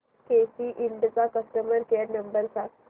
केसी इंड चा customer care number सांग